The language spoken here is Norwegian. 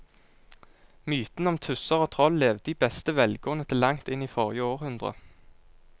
Mytene om tusser og troll levde i beste velgående til langt inn i forrige århundre.